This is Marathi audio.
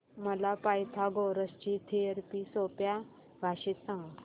मला पायथागोरस ची थिअरी सोप्या भाषेत सांग